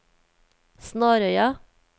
Snarøya